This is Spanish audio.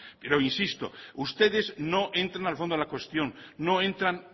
pero insisto ustedes no entra al fondo de la cuestión no entran